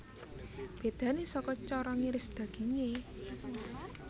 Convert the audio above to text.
Bédané saka cara ngiris dagingé